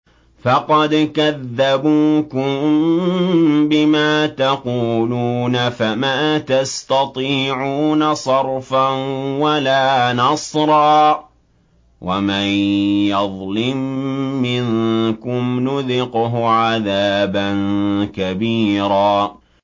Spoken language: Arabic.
فَقَدْ كَذَّبُوكُم بِمَا تَقُولُونَ فَمَا تَسْتَطِيعُونَ صَرْفًا وَلَا نَصْرًا ۚ وَمَن يَظْلِم مِّنكُمْ نُذِقْهُ عَذَابًا كَبِيرًا